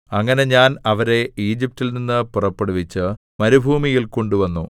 അങ്ങനെ ഞാൻ അവരെ ഈജിപ്റ്റിൽ നിന്ന് പുറപ്പെടുവിച്ച് മരുഭൂമിയിൽ കൊണ്ടുവന്നു